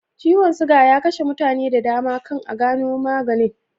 Ciwon suga ya kashe mutane da dama kan a gano maganin